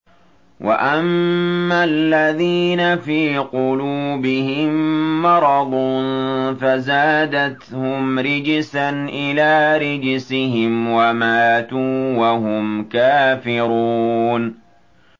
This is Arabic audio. وَأَمَّا الَّذِينَ فِي قُلُوبِهِم مَّرَضٌ فَزَادَتْهُمْ رِجْسًا إِلَىٰ رِجْسِهِمْ وَمَاتُوا وَهُمْ كَافِرُونَ